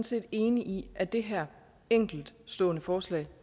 set enig i at det her enkeltstående forslag